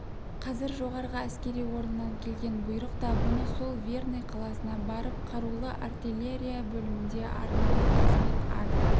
қазір жоғарғы әскери орыннан келген бұйрық та бұны сол верный қаласына барып қарулы артиллерия бөлімінде арнаулы қызмет ада